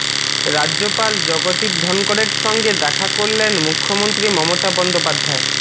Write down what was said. রাজ্যপাল জগদীপ ধনকড়ের সঙ্গে দেখা করলেন মুখ্যমন্ত্রী মমতা বন্দোপাধ্যায়